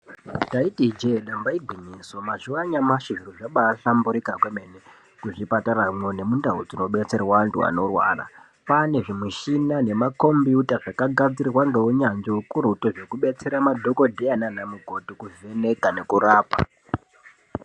Taiti ijee nyamba igwiyiso, mazuva anyamushi zviro zvabaahlamburuka kwemene muzviparamo nemundau dzinobetserwa antu anorwara. Kwaane zvimushini nemakombiyuta zvakagadzirwe ngeunyanzvi kubetsera madhogodheya nanamukoti kuvheneka nekurapa.